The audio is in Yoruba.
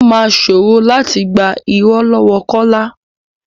Ó máa ṣòro láti gbà irọ́ lọ́wọ kọ́lá.